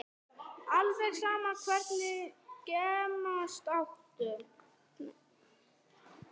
Alveg sama Hvernig gemsa áttu?